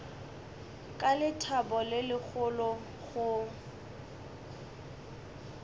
ka lethabo le legolo go